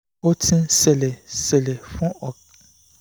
ó ti ń ṣẹlẹ̀ ń ṣẹlẹ̀ fún